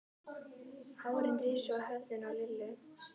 Hárin risu á höfðinu á Lillu.